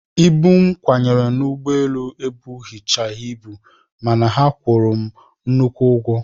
Ibu m kwanyere n'ụgbọelu ebuchaghị ibu mana a kwụrụ m nnukwu ụgwọ